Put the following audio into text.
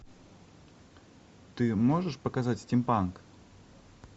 ты можешь показать стим панк